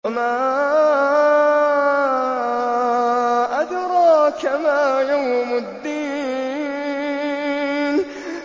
وَمَا أَدْرَاكَ مَا يَوْمُ الدِّينِ